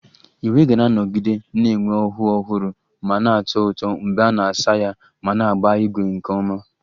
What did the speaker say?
Uwe ga-anọgide na-enwe ọhụụ ọhụrụ ma na-atọ ụtọ mgbe a na-asa ya ma na-agba ígwè nke ọma